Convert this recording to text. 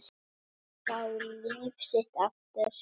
Fá líf sitt aftur.